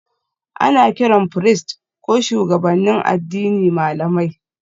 Ana kiran firist ko shugabannin addini malamai